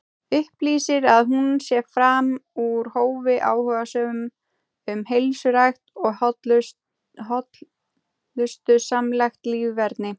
Upplýsir að hún sé fram úr hófi áhugasöm um heilsurækt og hollustusamlegt líferni.